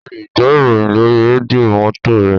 O lè gbọ́ ìròyìn lórí rédíò mọ́tò re